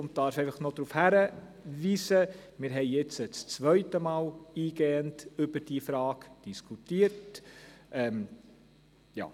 Im Weiteren möchte ich darauf hinweisen, dass wir nun zum zweiten Mal eingehend über diese Frage diskutieren.